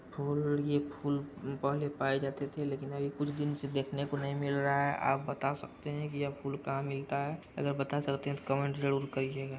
और ये फूल पहले पाए जाते थे लेकिन अब कुछ दिन से देखने को नहीं मिल रहा हैं। आप बात सकते हैं कि ये फूल कहा मिलता हैं अगर बात सकते हैं तो कमेन्ट जरूर करिएगा।